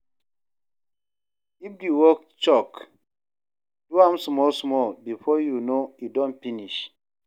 If di work choke, do am small small, before you know e don finish